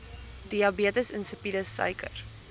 diabetes insipidus suiker